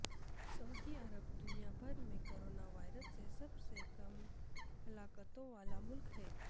سعودی Arab دنیا بھر میں کورونا وائرس سے سب سے کم ہلاکتوں والا ملک ہے